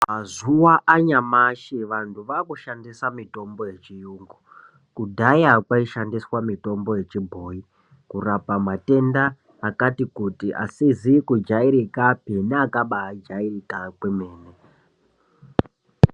Mazuwa anyamashi, vanthu vaakushandisa mitombo yechiyungu. Kudhaya kwaishandiswa mitombo yechibhoyi, kurapa matenda akati kuti, asizi kujairikapi neakabaa jairika kwemene.